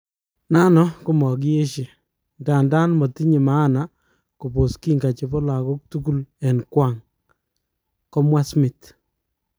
Nano kamangieshe,"Ndadan matinye maana kopos kinga chepo lagok tugul en kwang."komwa Smith